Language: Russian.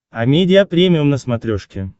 амедиа премиум на смотрешке